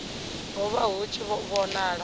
ho vha hu tshi vhonala